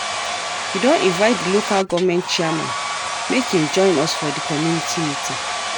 We don invite di Local Government Chairman make im join us for di community meeting.